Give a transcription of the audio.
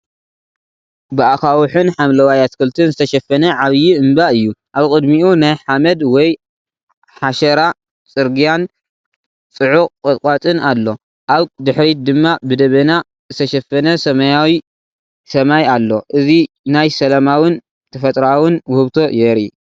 ብኣኻውሕን ሓምለዋይ ኣትክልትን ዝተሸፈነ ዓብይ እምባ እዩ። ኣብ ቅድሚኡ ናይ ሓመድ ወይ ሓሸራ ጽርግያን ጽዑቕ ቁጥቋጥን ኣሎ። ኣብ ድሕሪት ድማ ብደበና ዝተሸፈነ ሰማያዊ ሰማይ ኣሎ። እዚ ናይ ሰላማውን ተፈጥሮኣውን ውህብቶ የርኢ።